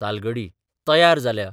तालगडी तयार जाल्या.